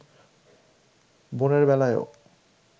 বোনের বেলায়ও